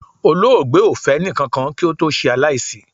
Olóògbé o fẹ ẹnikakan ki ó to se alaisi